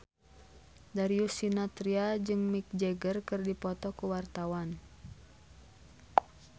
Darius Sinathrya jeung Mick Jagger keur dipoto ku wartawan